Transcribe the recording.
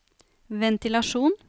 ventilasjon